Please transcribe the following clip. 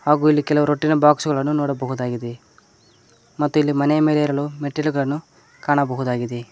ಹಾಗು ಇಲ್ಲಿ ಕೆಲವು ರಟ್ಟಿನ ಬಾಕ್ಸ್ ಗಳನ್ನು ನೋಡಬಹುದುದಾಗಿದೆ ಮತ್ತು ಇಲ್ಲಿ ಮನೆಯ ಮೇಲೆ ಹೇರಲು ಮೆಟ್ಟಿಲುಗಳನ್ನು ಕಾಣಬಹುದಾಗಿದೆ.